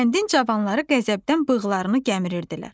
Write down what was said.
Kəndin cavanları qəzəbdən bığlarını gəmirirdilər.